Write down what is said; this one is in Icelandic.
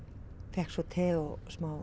fékk svo te og